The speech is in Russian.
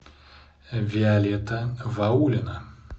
виолетта ваулина